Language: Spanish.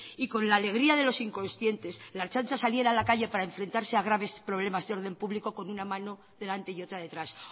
y con la alegría de los inconscientes la ertzaintza saliera a la calle para enfrentarse a graves problemas de orden público con una mano delante y otra detrás